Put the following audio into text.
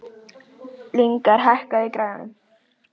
Lyngar, hækkaðu í græjunum.